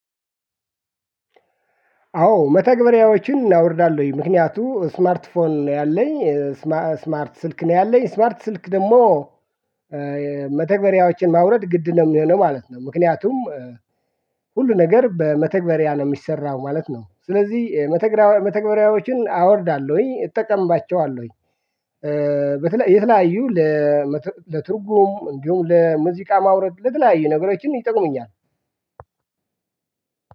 አዎ መተግበሪያዎችን አውርዳለሁኝ ምክንያቱም ስማርት ፎን ነው ያለኝ ስማርት ስልክ ነው ያለኝ ስማርት ስልክ ደግሞ መተግበሪያዎችን ማውረድ ግድ ነው የሚሆነው ማለት ነው ምክንያቱም ሁሉ ነገር በመተግበሪያ ነው የሚሰራው ማለት ነው ስለዚህ መተግበሪያዎችን አወርዳለሁኝ እጠቀምባቸዋለሁኝ በተለይ የተለያዩ ለትርጉም እንዲሁም ለሙዚቃ ማውረድ ለተለያየ ነገሮችን ይጠቁምኛል።